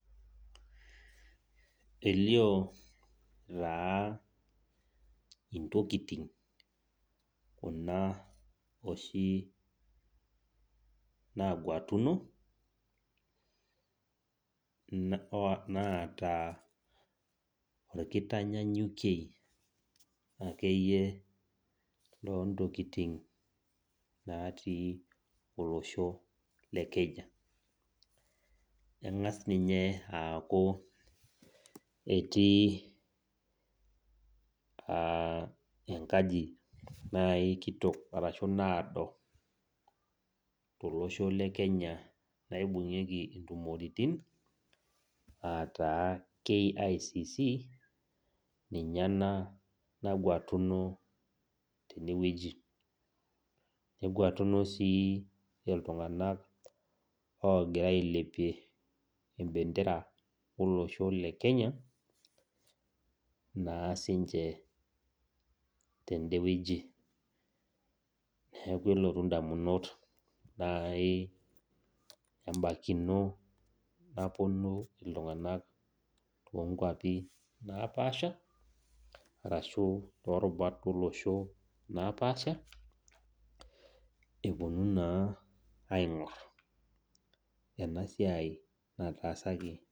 Elio taa intokitin kuna oshi naag'watuni, naata inkitanyanyukie ake iyie oo ntokitin naatii olosho le Kenya. Engas ninye aaku etii enkaji naaji kitok ashu naado, tolosho le Kenya naibung'ieki intumoritin, ataa KICC ninye ena nagwatuno tene wueji. Kegwatuno sii iltung' ana oogira ailepie embendera olosho le Kenya, naa sininche tendewueji. Neaku elotu indamunot naaji abaikino epuonu iltung'ana oo nkwapi napaaasha arashu torubat olosho napaasha, epuonu naa aing'or ena siai nataasaki.